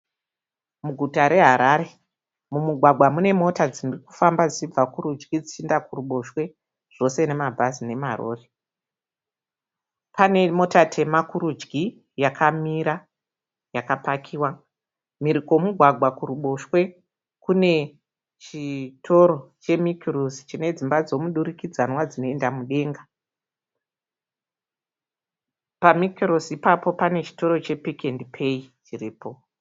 Muguta reHarare, mumugwagwa munemota dzirikufamba dzichibva kurudyi dzichienda kuruboshwe zvose nemabhazi nemarori. Panemota tema kurudyi yakamira yakapakiwa . Mhiri kwomugwagwa kuruboshwe kunechitoro chemikirusi chinedzimba dzemuturikidzanwa dzinoenda mudenga. Pamikirisi ipapo panechitoro chepikiendipeyi chiripo.